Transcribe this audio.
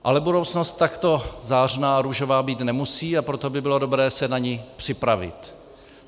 Ale budoucnost takto zářná a růžová být nemusí, a proto by bylo dobré se na ni připravit.